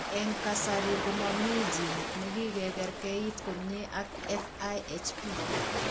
Eng' kasarii komomii genit nekikekerkeit komyee ak FIHP